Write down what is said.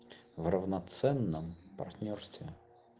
равноценном партнёрстве